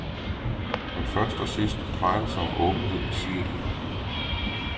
Men først og sidst drejer det sig om åbenhed, siger de.